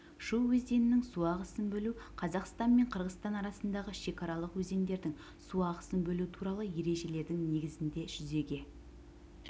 шу өзенінің су ағысын бөлу қазақстан мен қырғызстан арасындағы шекаралық өзендердің су ағысын бөлу туралы ережелердің негізінде жүзеге